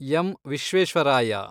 M. Visvesvaraya